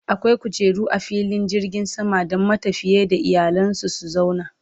akwai kujeru a filin jirgin sama Dan matafiya da iyalansu su zauna